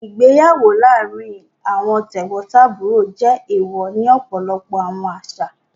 Igbeyawo laarin awọn tegbontaburo jẹ ééwọ́ ni ọpọlọpọ awọn aṣa.